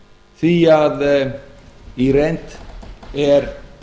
því að í reynd er